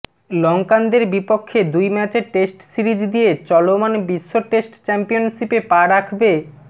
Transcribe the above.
লংকানদের বিপক্ষে দুই ম্যাচের টেস্ট সিরিজ দিয়ে চলমান বিশ্ব টেস্ট চ্যাম্পিয়নশিপে পা রাখবে